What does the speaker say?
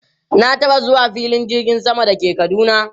Na taba zuwa filin jirgin sama da ke Kaduna.